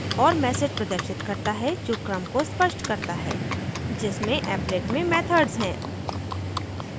और message प्रदर्शित करता है जो क्रम को स्पष्ट करता है जिसमें applet में methods हैं